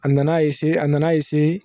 A nana a na na